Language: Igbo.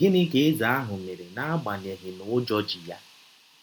Gịnị ka eze ahụ mere n’agbanyeghị na ụjọ ji ya?